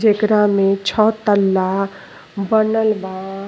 जेकरा में छ तल्ला बनल बा।